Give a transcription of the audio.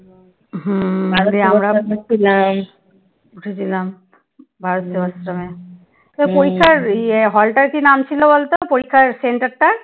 তোর পরীক্ষার ইয়ে hall টার কি নাম ছিল বলতো পরীক্ষার centre টার?